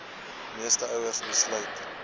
meeste ouers besluit